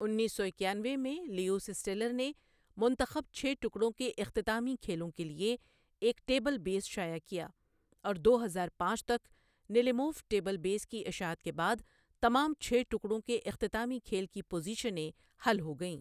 انیس سو اکیانوے میں لیوس اسٹیلر نے منتخب چھ ٹکڑوں کے اختتامی کھیلوں کے لیے ایک ٹیبل بیس شائع کیا، اور دو ہزار پانچ تک نلیموف ٹیبل بیس کی اشاعت کے بعد تمام چھ ٹکڑوں کے اختتامی کھیل کی پوزیشنیں حل ہو گئیں۔